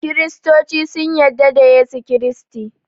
kiristoci sun yadda da Yesu kiristi